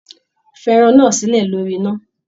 Fí ẹran náà silẹ lórí iná!